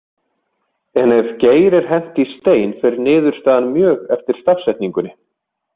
En ef Geir er hent í Stein fer niðurstaðan mjög eftir stafsetningunni.